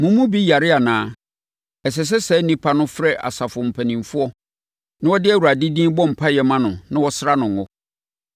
Mo mu bi yare anaa? Ɛsɛ sɛ saa onipa no frɛ asafo mpanimfoɔ na wɔde Awurade din bɔ mpaeɛ ma no na wɔsra no ngo.